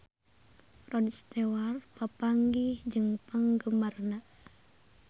Rod Stewart papanggih jeung penggemarna